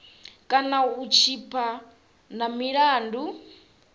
kana u tshipa na milandu